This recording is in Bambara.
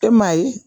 E maa ye